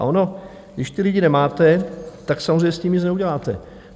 A ono když ty lidi nemáte, tak samozřejmě s tím nic neuděláte.